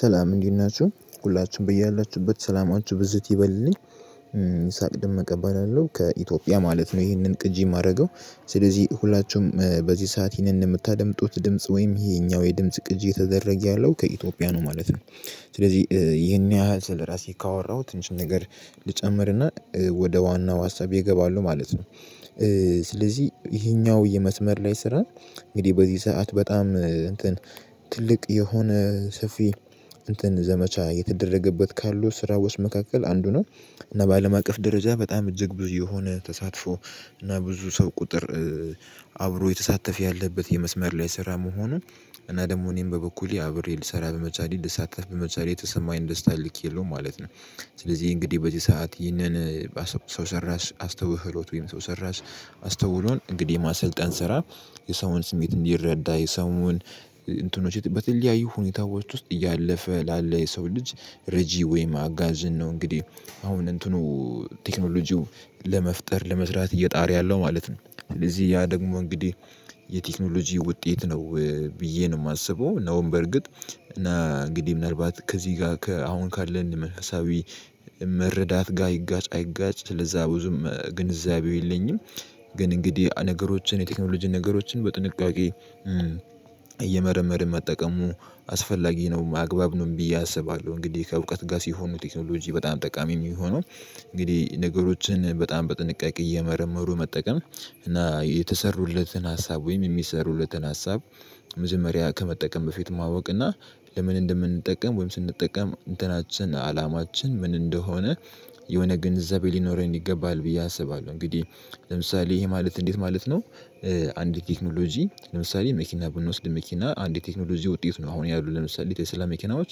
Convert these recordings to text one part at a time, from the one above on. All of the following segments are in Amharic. ሰላም እንዴት ናችሁ ሁላችን በያላችሁበት ሰላማችሁ ብዝት ይበልልኝ። ሳቅ ድምቅ እቀበላለሁ ከኢትዮጵያ ማለት ነው ይሄንን ቅጂ የማደርገው። ስለዚህ ሁላችሁም በዚህ ሰዓት ይህንን የምታደምጡት ድምጽ ወይም ይሄኛው የድምጽ ቅጂ የተደረገ ያለው ከኢትዮጵያ ነው ማለት ነው። ስለዚህ ይህን ያህል ስለራሴ ካወራሁት ትንሽ ነገር ልጨምርና ወደ ዋናው ሀሳቤ እገባለሁ ማለት ነው። ስለዚህ ይሄኛው የመስመር ላይ ስራ እንግዲህ በዚህ ሰዓት በጣም ትልቅ የሆነ ሰፊ ዘመቻ የተደረገበት ካሉ ስራ ውስጥ መካከል አንዱ ነው። እና በአለም አቀፍ ደረጃ በጣም እጅግ ብዙ የሆነ ተሳትፎ እና ብዙ ሰው ቁጥር አብሮ የተሳተፈ ያለበት የመስመር ላይ ስራ መሆኑን እና ደግሞ እኔም በበኩሌ አብሬ ልሰራ በመቻሌ ልሳተፍ በመቻሌ የተሰማኝን ደስታ ልክ የለውም ማለት ነው። ስለዚህ እንግዲህ በዚህ ሰዓት ይህንን ሰው ሰራሽ አስተውህሎት ወይም ሰው ሰራሽ አስተውሎን እንግዲህ ማሰልጠን ስራ የሰውን ስሜት እንዲረዳ የሰውን እንትኖች በተለያዩ ሁኔታዎች ውስጥ እያለፈ ላለ የሰው ልጅ ረጂ ወይም አጋዥን ነው። እንግዲህ አሁን እንትኑ ቴክኖሎጂው ለመፍጠር ለመስራት እየጣረ ያለው ማለት ስለዚህ ያ ደግሞ እንግዲህ የቴክኖሎጂ ውጤት ነው ብዬ ነው የማስበው። ነውም በርግጥ እና እንግዲህ ምናልባት ከዚህ ጋር አሁን ካለን መንፈሳዊ መረዳት ጋር ይጋጭ አይጋጭ ስለዛ ብዙም ግንዛቤው የለኝም። ግን እንግዲህ ነገሮችን የቴክኖሎጂ ነገሮችን በጥንቃቄ እየመረመርን መጠቀሙ አስፈላጊ ነው አግባብ ነው ብዬ አስባለሁ። እንግዲህ ከእውቀት ጋር ሲሆን ነው ቴክኖሎጂ በጣም ጠቃሚ የሚሆነው። እንግዲህ ነገሮችን በጣም በጥንቃቄ እየመረመሩ መጠቀም እና የተሰሩለትን ሀሳብ ወይም የሚሰሩለትን ሀሳብ መጀመሪያ ከመጠቀም በፊት ማወቅና ለምን እንደምንጠቀም ወይም ስንጠቀም እንትናችን አላማችን ምን እንደሆነ የሆነ ግንዘቤ ሊኖረን ይገባል ብዬ አስባለሁ። እንግዲህ ለምሳሌ ይሄ ማለት እንዴት ማለት ነው? አንድ ቴክኖሎጂ ለምሳሌ መኪና ብንወስድ መኪና አንድ የቴክኖሎጂ ውጤት ነው አሁን ያሉት ለምሳሌ የቴስላ መኪናዎች።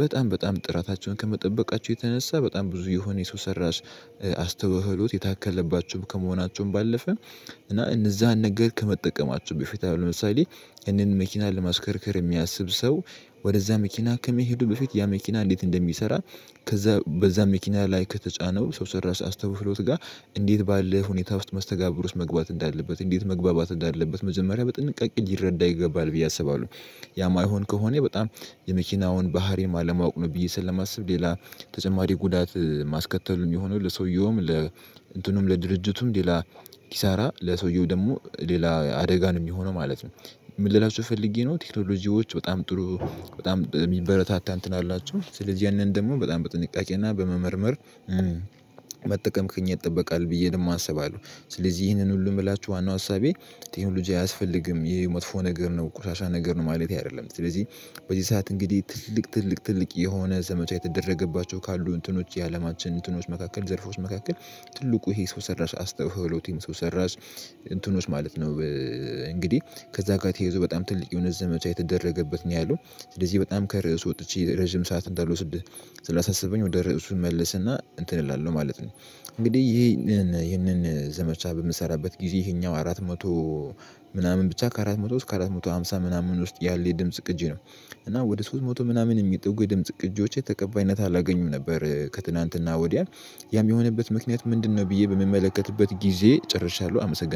በጣም በጣም ጥራታቸውን ከመጠበቃቸው የተነሳ በጣም ብዙ የሆነ የሰው ሰራሽ አስተውሎት የታከለባቸውም ከመሆናቸውም ባለፈን እና እነዛን ነገር ከመጠቀማችሁ በፊት ለምሳሌ ያንን መኪና ለማሽከርከር የሚያስብ ሰው ወደዛ መኪና ከመሄዱ በፊት ያ መኪና እንዴት እንደሚሰራ? ከዛ በዛ መኪና ላይ ከተጫነው ሰው ሰራሽ አስተውሎት ጋር እንዴት ባለው ሁኔታ ውስጥ መስተጋብር ውስጥ መግባት እንዳለበት እንዴት መግባባት እንዳለበት መጀመሪያ በጥንቃቄ ሊረዳ ይገባል ብዬ አስባለሁ። ያ የማይሆን ከሆነ በጣም የመኪናውን ባህሪ አለማወቅ ነው ብዬ ስለማስብ ሌላ ተጨማሪ ጉዳት ማስከተሉን የሆነው ለሰውየውም ለ እንትኑም ለድርጅቱም ሌላ ኪሳራ ለሰውየው ደግሞ ሌላ አደጋ ነው የሚሆነው ማለት ነው። ምን ልላችሁ ፈልጌ ነው ቴክኖሎጂዎች በጣም ጥሩ በጣም የሚበረታታ እንትን አላቸው ስለዚህ ያንን ደግሞ በጣም በጥንቃቄና በመመርመር። መጠቀም ከኛ ይጠበቃል ብዬ ደሞ አስባለሁ። ስለዚህ ይሄንን ሁሉ የምላችሁ ዋናው አሳቤ ቴክኖሎጂ አያስፈልግም ይሄ መጥፎ ነገር ነው ቆሻሻ ነገር ነው ማለቴ አይደለም ስለዚህ በዚህ ሰዓት እንግዲህ ትልቅ ትልቅ ትልቅ የሆነ ዘመቻ የተደረገባቸው ካሉ እንትኖች የአለማችን እንትኖች መካከል ዘርፎች መካከል ትልቁ ይሄ ሰው ሰራሽ አስተውሎቱም ሰው ሰራሽ እንትኖች ማለት ነው። እንግዲህ ከዛ ጋር ተይዞ በጣም ትልቅ የሆነ ዘመቻ የተደረገበት ነው ያለው ስለዚህ በጣም ከርዕስ ወጥቼ ረጅም ሰዓት እንዳልወስድ ስለሳሰበኝ ወደ ርዕሱ ልመለስና እንትን እላለሁ ማለት ነው። እንግዲህ ይህንን ይህንን ዘመቻ በምሰራበት ጊዜ ይሄኛው አራት መቶ ምናምን ብቻ ከአራት መቶ እስከ አራት መቶ ሃምሳ ምናምን ውስጥ ያለ የድምጽ ቅጂ ነው። እና ወደ ሶስት መቶ ምናምን የሚጠጉ የድምጽ ቅጂዎቼ ተቀባይነት አላገኙም ነበር ከትናንትና ወዲያ ያም የሆነበት ምክንያት ምንድነው? ብዬ በምመለከትበት ጊዜ ጨርሻለሁ አመሰግናለሁ